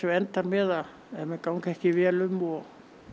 endar með ef menn ganga ekki vel um og